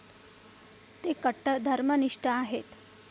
ते कट्टर धर्मनिष्ठ आहेत.